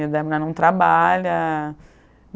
E dai a mulher não trabalha.